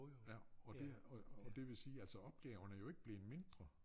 Ja og det er og og det vil sige altså opgaven er jo ikke blevet mindre